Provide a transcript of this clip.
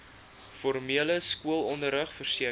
formele skoolonderrig verseker